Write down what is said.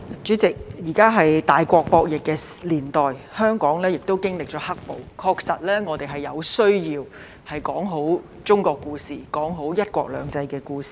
主席，現時是大國博弈的年代，香港經歷了"黑暴"，確實有需要說好中國故事，說好"一國兩制"的故事。